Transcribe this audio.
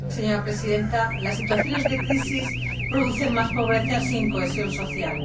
Señora Presidenta, las situaciones de crisis producen más pobreza sin cohesión social.